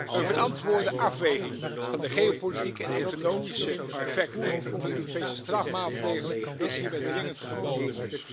Een verantwoorde afweging van de geopolitieke en economische effecten van de Europese strafmaatregelen is hierbij dringend geboden.